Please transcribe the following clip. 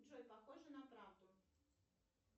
джой похоже на правду